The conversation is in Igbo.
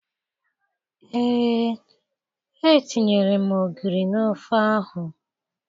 Ee, etinyere m ogiri n'ofe ahụ